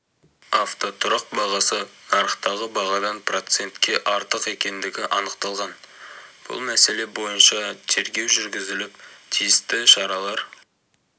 автотұрақ бағасы нарықтағы бағадан процентке артық екендігі анықталған бұл мәселе бойынша тергеу жүргізіліп тиісті шаралар